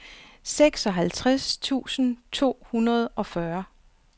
seksoghalvtreds tusind to hundrede og fyrre